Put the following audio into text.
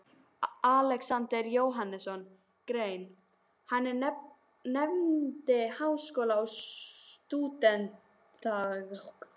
Alexander Jóhannesson grein, er hann nefndi Háskóli og Stúdentagarður.